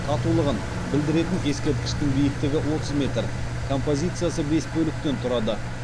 татулығын білдіретін ескерткіштің биіктігі отыз метр композициясы бес бөліктен тұрады